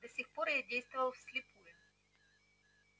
до сих пор я действовал вслепую